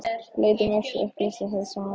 Leit um öxl og upplýsti hið sanna í málinu: